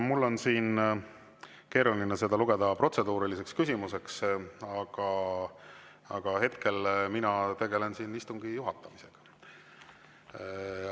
Mul on seda keeruline lugeda protseduuriliseks küsimuseks, hetkel mina tegelen siin istungi juhatamisega.